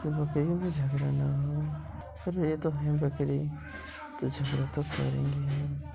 तो बकरियों में झगड़ा ना हो अरे ये तो भेड़ बकरी तो झगड़ा तो करेंगी ही।